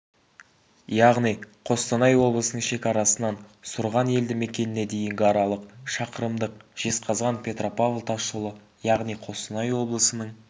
яғни қостанай облысының шекарасынан сұрған елді мекеніне дейінгі аралық шақырымдық жезқазған-петропавл тасжолы яғни қостанай облысының